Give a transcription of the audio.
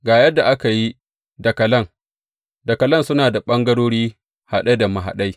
Ga yadda aka yi dakalan, dakalan suna da ɓangarori haɗe da mahaɗai.